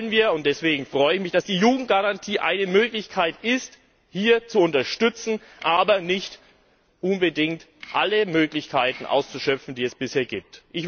Das wollen wir, und deswegen freue ich mich, dass die Jugendgarantie eine Möglichkeit ist, hier zu unterstützen, aber nicht unbedingt alle Möglichkeiten auszuschöpfen, die es bisher gibt.